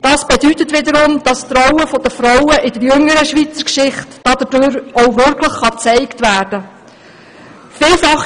Dies bedeutet wiederum, dass die Rolle der Frauen in der jüngeren Schweizer Geschichte dadurch auch wirklich gezeigt werden kann.